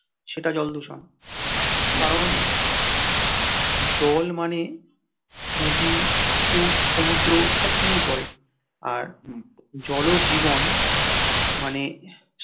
সেটা জল দূষণ কারণ জল মানে নদী পুকুর সমুদ্র সবকিছুই পড়ে আর জল ও জীবন মানে